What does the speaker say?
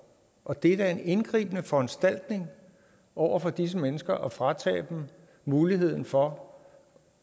og det er da en indgribende foranstaltning over for disse mennesker at fratage dem muligheden for